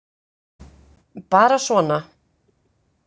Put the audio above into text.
Bara svona.